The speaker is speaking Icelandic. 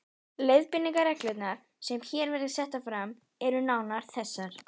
Leiðbeiningarreglurnar, sem hér verða settar fram, eru nánar þessar